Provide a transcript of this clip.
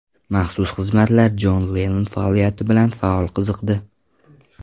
Maxsus xizmatlar Jon Lennon faoliyati bilan faol qiziqdi.